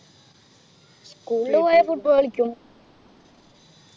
school ൽ പോയാൽ football കളിക്കും